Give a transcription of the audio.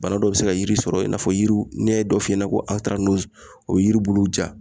Bana dɔ bɛ se ka yiri sɔrɔ i n'a fɔ yiriw ne ye dɔ f'i ɲɛna ko o ye yiri buluw ja